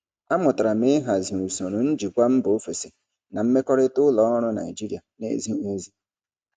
Amụtara m ịhazi usoro njikwa mba ofesi na mmekọrịta ụlọ ọrụ Naijiria na-ezighi ezi.